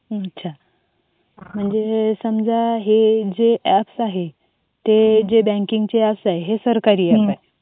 अच्छा म्हणजे समजा हे हे जे ॲप्स आहे. हे जे बँकिंगच्या ॲप्स आहेत ॲप्स आहेत ते सरकारी ॲप्स आहेत.